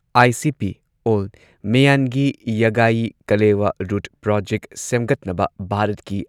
ICP ꯑꯣꯜ ꯃ꯭ꯌꯥꯟꯒꯤ ꯌꯥꯒꯥꯌꯤ ꯀꯂꯦꯋꯥ ꯔꯨꯠ ꯄ꯭ꯔꯣꯖꯦꯛ ꯁꯦꯝꯒꯠꯅꯕ ꯚꯥꯔꯠꯀꯤ